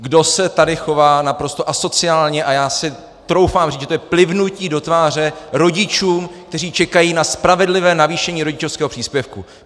Kdo se tady chová naprosto asociálně, a já si troufám říct, že to je plivnutí do tváře rodičům, kteří čekají na spravedlivé navýšení rodičovského příspěvku!